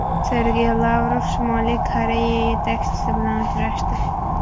Sergey Lavrov Shimoliy Koreya yetakchisi bilan uchrashdi.